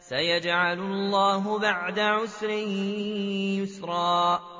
سَيَجْعَلُ اللَّهُ بَعْدَ عُسْرٍ يُسْرًا